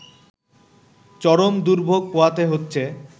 চরম দুর্ভোগ পোহাতে হচ্ছে